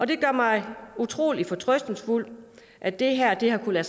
det gør mig utrolig fortrøstningsfuld at det her har kunnet